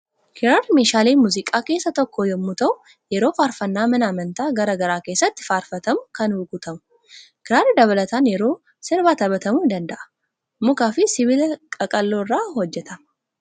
Kiraarri meeshaalee muuziqaa keessaa tokko yommuu ta'u, yeroo faarfannaa mana amantaa garaa garaa keessatti faarfatamu kan rukutamu. Kiraarri dabalataan yeroo sirbaa taphatamuu ni danda'a. Mukaa fi sibiila qaqal'oo irraa hojjetama.